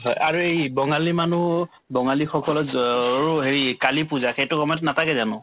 হয় এই বঙালী মানুহ বঙালীসকলৰ দ'ওৰো হেৰি কালী পূজা সেইটো সময়ত নাথাকে জানো